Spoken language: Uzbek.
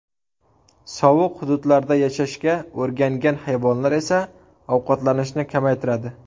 Sovuq hududlarda yashashga o‘rgangan hayvonlar esa ovqatlanishni kamaytiradi.